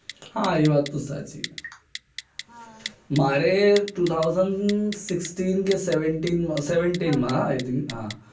હા એ વાત તો સાચી મારે two thousand sixteen seventeen માં